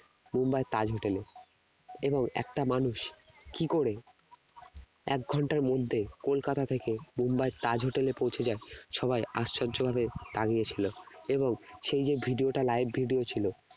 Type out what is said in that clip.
মুম্বাইয়ের তাজ hotel এ এবং একটা মানুষ কি করে এক ঘন্টার মধ্যে কলকাতা থেকে মুম্বাইয়ের তাজ hotel এ পৌঁছে যায় সবাই আশ্চর্য ভাবে তাকিয়ে ছিল এবং সেই যে video টা live video ছিল